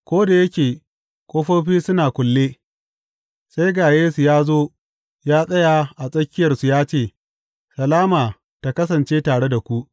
Ko da yake ƙofofi suna kulle, sai ga Yesu ya zo ya tsaya a tsakiyarsu ya ce, Salama tă kasance tare da ku!